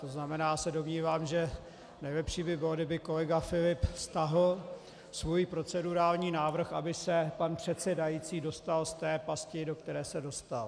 To znamená, já se domnívám, že nejlepší by bylo, kdyby kolega Filip stáhl svůj procedurální návrh, aby se pan předsedající dostal z té pasti, do které se dostal.